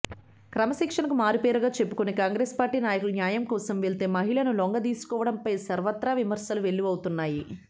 క్రమశిక్షణకు మారుపేరుగా చెప్పుకునే కాంగ్రెస్ పార్టీ నాయకులు న్యాయంకోసం వెళ్లే మహిళలను లొంగదీసుకోవడంపై సర్వత్రా విమర్శలు వెల్లువెత్తుతున్నాయి